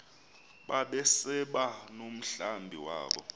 babesaba nomhlambi wabo